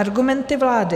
Argumenty vlády.